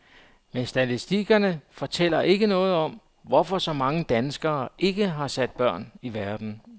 Men statistikkerne fortæller ikke noget om, hvorfor så mange danskere ikke har sat børn i verden.